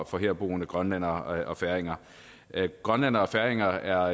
for herboende grønlændere og færinger grønlændere og færinger er